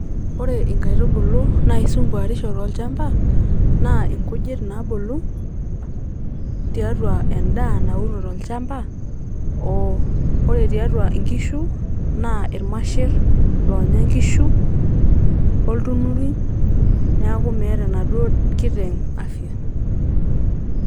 Ore inkaitubulu naisumbwarisho tolchamba naa inkujit naabulu tiatua endaa nauno tolchamba. ore tiatua inkishu naa irmasher loonya nkishu, oltunurui neaku meeta enaduoo kiteng afya.